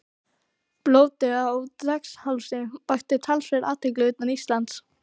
Blótið á Draghálsi vakti talsverða athygli utan Íslands.